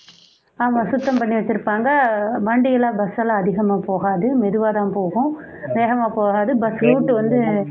ஆமாம் சுத்தம் பண்ணி வெச்சிருப்பாங்க வண்டியெல்லாம் bus லாம் அதிகமா போகாது மெதுவா தான் போகும் வேகமா போகாது bus route வந்து